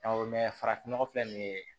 Awɔ farafin nɔgɔ filɛ nin ye